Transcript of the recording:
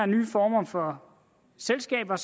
nye former for selskaber